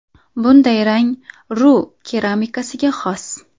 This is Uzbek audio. Bunday rang Ru keramikasiga xos.